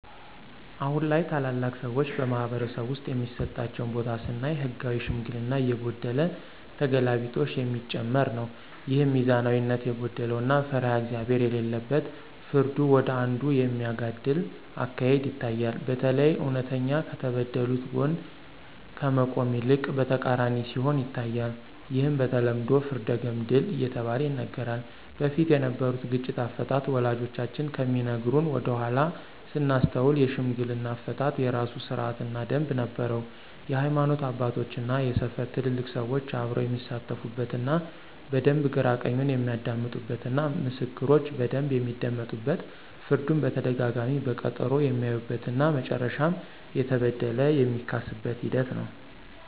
አሁን ላይ ታላላቅ ሰዎች በማኅበረሰብ ውስጥ የሚሰጣቸው ቦታ ስናይ ህጋዊ ሽምግልና እየጎደለ ተገላቢጦሽ የሚጨመር ነው። ይህም ሚዛናዊነት የጎደለው እና ፈሪሃ እግዚአብሄር የሌለበት ፍርዱ ወደ አንዱ የሚያጋድል አካሄድ ይታያል። በተለይ እውነተኛ ከተበደሉት ጎን ከመቆም ይልቅ በተቃራኒው ሲሆን ይታያል። ይህም በተለምዶ ፍርደ ገምድል እየተባለ ይነገራል። በፊት የነበሩት ግጭት አፈታት ወላጆቻችን ከሚነግሩን ወደኃላ ስናስታውስ የሽምግልና አፈታት የራሱ ስርአት እና ደምብ ነበረው የሀይማኖት አባቶች እና የሰፈሩ ትልልቅ ሰዎች አብረው የሚሳተፉበት እና በደንብ ግራ ቀኙን የሚያደምጡበት እና ምስክሮች በደንብ የሚደመጡበት ፍርዱን በተደጋጋሚ በቀጠሮ የሚያዩበት እና መጨረሻም የተበደለ የሚካስበት ሂደት ነው።